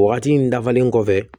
O wagati in dafalen kɔfɛ